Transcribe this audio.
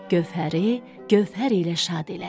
Gövhəri gövhər ilə şad elədi.